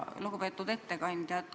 Lugupeetud ettekandja!